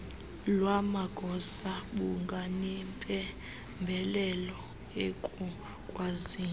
lwamagosa bunganempembelelo ekukwazini